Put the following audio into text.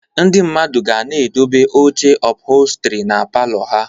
Ndị mmadụ ga na-edobe oche ụphọlstri na palọ ha